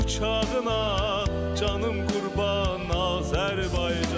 Uçağına canım qurban, Azərbaycan.